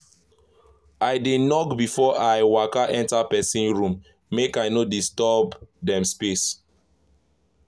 i dey knock before i waka enter person room make i no disturb dem space.